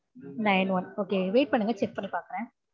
nine one okay wait பண்ணுங்க check பண்ணி பாக்குறேன்